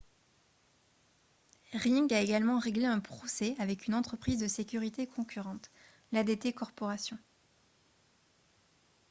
ring a également réglé un procès avec une entreprise de sécurité concurrente l'adt corporation